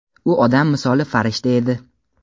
U odam misoli farishta edi.